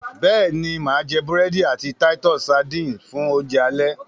béèni má jé burẹdi àti Titus sardines fún Oúnjẹ alẹ́.